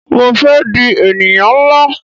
Mo fé di ènìyàn nlá